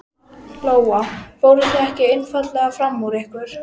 Lóa: Fóruð þið ekki einfaldlega fram úr ykkur?